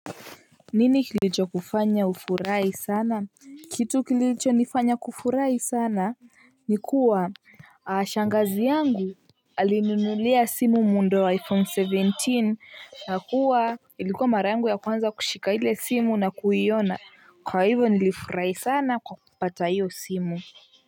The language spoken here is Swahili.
Nini kilicho kufanya ufurahi sana? Kitu kilichonifanya kufurahi sana nikuwa shangazi yangu alinunulia simu muundo wa iphone seventeen na kuwa ilikuwa mara yangu ya kwanza kushika ile simu na kuyiona kwa hivyo nilifurahi sana kwa kipata hiyo simu.